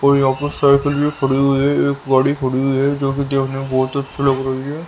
और यहां पर साइकिल भी खड़ी हुई है एक गाड़ी खड़ी हुई है जो कि देखने में बहुत अच्छी लग रही है।